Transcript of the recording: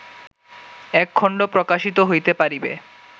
এক খণ্ড প্রকাশিত হইতে পারিবে